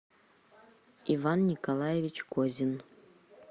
иван николаевич козин